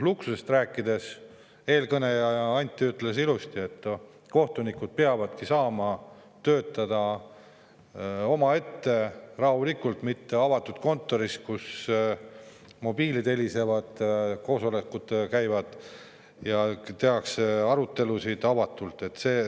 Luksusest rääkides eelkõneleja Anti ütles ilusti, et kohtunikud peavadki saama töötada omaette rahulikult, mitte avatud kontoris, kus mobiilid helisevad, koosolekud käivad ja tehakse avatud arutelusid.